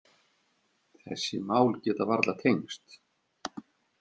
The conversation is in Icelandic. Þessi mál geta varla tengst.